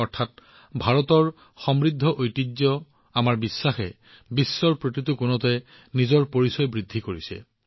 অৰ্থাৎ ভাৰতৰ সমৃদ্ধ ঐতিহ্য আমাৰ বিশ্বাসে পৃথিৱীৰ প্ৰতিটো কোণত নিজৰ পৰিচয় পুনৰ দাঙি ধৰিছে